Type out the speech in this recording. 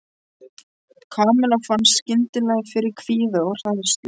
Kamilla fann skyndilega fyrir kvíða og hræðslu.